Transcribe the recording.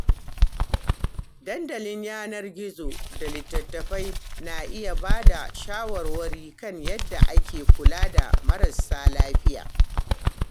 Dandalin yanar gizo da littattafai na iya ba da shawarwari kan yadda ake kula da marasa lafiya.